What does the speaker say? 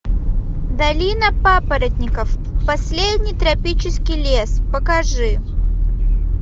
долина папоротников последний тропический лес покажи